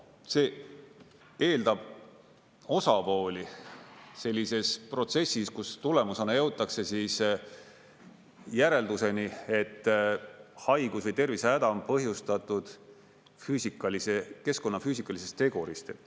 See eeldab osapooli sellises protsessis, kus tulemusena jõutakse järelduseni, et haigus või tervisehäda on põhjustatud keskkonna füüsikalisest tegurist.